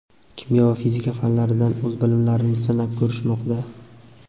kimyo va fizika fanlaridan o‘z bilimlarini sinab ko‘rishmoqda.